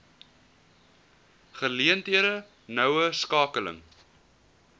geleenthede noue skakeling